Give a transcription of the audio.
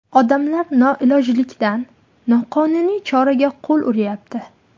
Odamlar noilojlikdan noqonuniy choraga qo‘l uryapti.